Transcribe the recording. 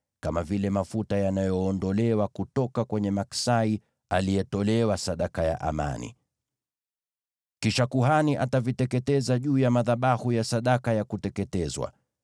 kama vile mafuta yanayoondolewa kutoka kwenye maksai aliyetolewa sadaka ya amani. Kisha kuhani ataviteketeza juu ya madhabahu ya sadaka ya kuteketezwa.